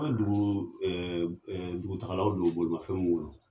An ka dugu ɛ ɛ dugutagalaw dow bolimafɛn b'u bolo